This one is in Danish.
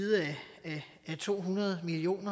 af to hundrede million